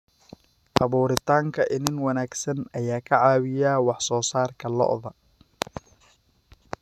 Abuuritaanka iniin wanaagsan ayaa ka caawiya wax soo saarka lo'da.